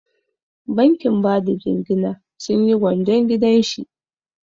Bankin bada jingina sun yi gwanjon gidan shi.